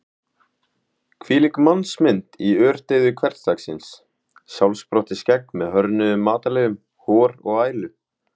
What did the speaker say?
Hvílík mannsmynd mitt í ördeyðu hversdagsins: sjálfsprottið skegg með hörðnuðum matarleifum, hor og ælu.